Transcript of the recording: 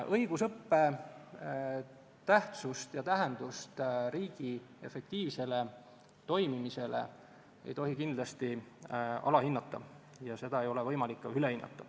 Õigusõppe tähtsust ja tähendust riigi efektiivsele toimimisele ei tohi kindlasti alahinnata ja seda ei ole võimalik ka ülehinnata.